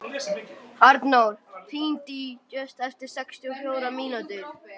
Arnór, hringdu í Júst eftir sextíu og fjórar mínútur.